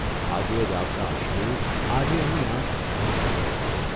ભાગ્યે જ આવતાં અશ્રુ આજે એની આંખ ભીની કરી ગયાં.